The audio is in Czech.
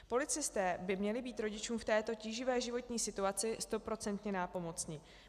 Policisté by měli být rodičům v této tíživé životní situaci stoprocentně nápomocni.